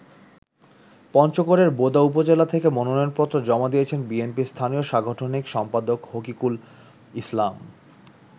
পঞ্চগড়ের বোদা উপজেলা থেকে মনোনয়নপত্র জমা দিয়েছেন বিএনপির স্থানীয় সাংগঠনিক সম্পাদক হকিকুল ইসলাম।